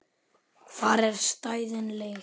Þar eru stæðin leigð.